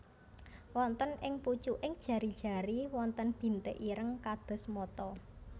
Wonten ing pucuking jari jari wonten bintik ireng kados mata